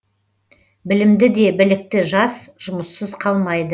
білімді де білікті жас жұмыссыз қалмайды